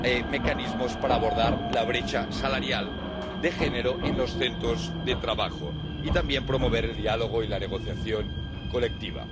mecanismos para abordar la brecha salarial de género en los centros de trabajo y también promover el diálogo y la negociación colectiva.